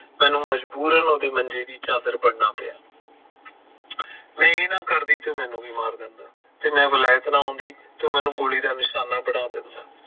ਮੈਨੂੰ ਮਜਬੂਰਨ ਉਹਦੇ ਮੰਜੇ ਦੀ ਚਾਦਰ ਬਣਨਾ ਪਿਆ ਜੇ ਮੈਂ ਇਹ ਨਾ ਕਰਦੀ ਤਾਂ ਮੈਨੂੰ ਵੀ ਮਾਰ ਦਿੰਦਾ ਤੇ ਜੇ ਮੈਂ ਵਲੈਤ ਨਾ ਆਉਂਦੀ ਤਾਂ ਉਹ ਮੈਨੂੰ ਗੋਲੀ ਦਾ ਨਿਸ਼ਾਨਾ ਬਣਾ ਦਿੰਦਾ